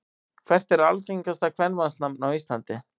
Hvert er algengasta kvenmannsnafn á Íslandi?